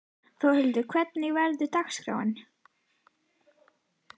Þórhildur, hvernig verður dagskráin?